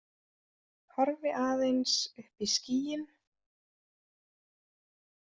Horfi aðeins upp í skýin.